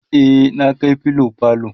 e na Kai filo falo